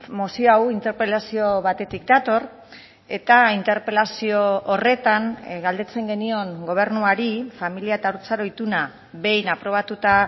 mozio hau interpelazio batetik dator eta interpelazio horretan galdetzen genion gobernuari familia eta haurtzaro ituna behin aprobatuta